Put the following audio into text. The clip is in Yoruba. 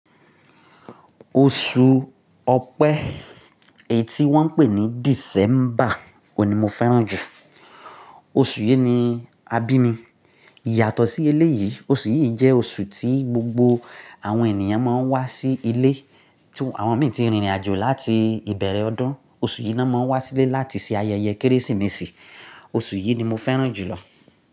Oṣù Ọpẹ́ eyi ti wọ́n ń pè ní December òun ní mo fẹ́ràn jù. Oṣù yìí ni a bí mi. Yàtọ̀ sí eléyìí, oṣù yìí jẹ́ oṣù tí gbogbo àwọn ènìyàn máa ń wá sí ilé. Tí àwọn mìíràn ti rìnrìn àjò láti ìbẹ̀rẹ̀ ọdún, oṣù yìí ni wọ́n monń wá sílé láti ṣe ayẹyẹ Kérésìmesì. Oṣù yìí ni mo fẹ́ràn jùlọ.